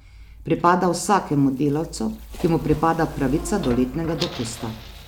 Pripada vsakemu delavcu, ki mu pripada pravica do letnega dopusta.